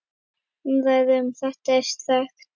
Umræða um þetta er þekkt.